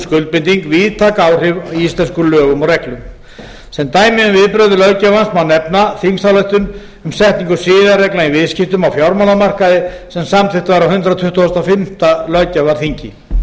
skuldbinding víðtæk áhrif í íslenskum lögum og reglum sem dæmi um viðbrögð löggjafans má nefna þingsályktun um setningu siðareglna í viðskiptum á fjármálamarkaði sem samþykkt var á hundrað tuttugasta og fimmta löggjafarþingi